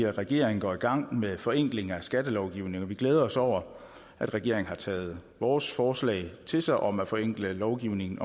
at regeringen går i gang med forenkling af skattelovgivningen og vi glæder os over at regeringen har taget vores forslag til sig om at forenkle lovgivningen